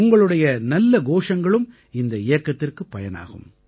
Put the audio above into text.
உங்களுடைய நல்ல கோஷங்களும் இந்த இயக்கத்திற்குப் பயனாகும்